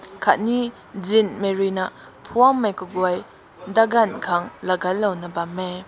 kat ne zinhmei rui na mphwanmei kagoi dagan kan laiga na bam hae.